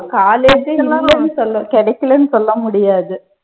college ஏ இல்லன்னு சொல்ல கிடைக்கலைன்னு சொல்ல முடியாது